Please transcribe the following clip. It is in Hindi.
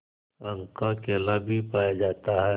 रंग का केला भी पाया जाता है